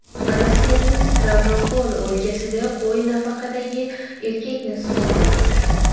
Rossiyaning Stavropol o‘lkasida qo‘y nafaqadagi erkakni suzib o‘ldirdi.